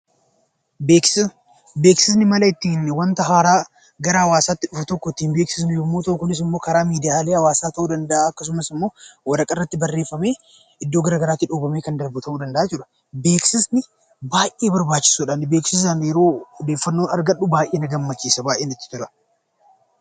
Beeksisni wanta haaraa adeemsa ittiin hawwaasatti beeksifnu yammuu ta'u; kunis immoo karaa miidiyaa hawwaasaa ta'uu danda'a, akkasumas immoo waraqaa irratti barreeffamee iddoo garaa garaatti dhoobamee kan darbuudha. Beeksisni baayyee barbaachisoodha kunis odeeffannoo naaf Kenna.